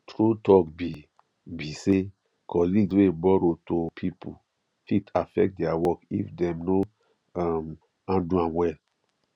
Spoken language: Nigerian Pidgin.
true talk be be say colleagues wey borrow to people fit affect their work if dem no um handle am well